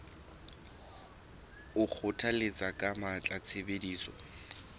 o kgothalletsa ka matla tshebediso